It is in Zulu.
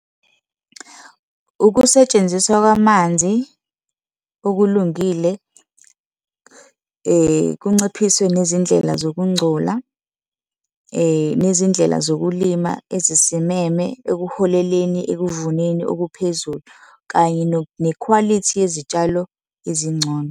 Ukusetshenziswa kwamanzi okulungile kunciphiswe nezindlela zokungcola, nezindlela zokulima ezisimeme ekuholeleni ekuvuneni okuphezulu, kanye nekhwalithi yezitshalo ezingcono.